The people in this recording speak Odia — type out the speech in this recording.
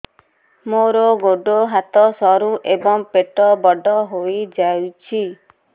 ମୋର ଗୋଡ ହାତ ସରୁ ଏବଂ ପେଟ ବଡ଼ ହୋଇଯାଇଛି